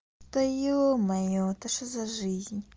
да ё-моё это что за жизнь